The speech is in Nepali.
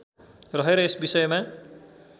रहेर यस विषयमा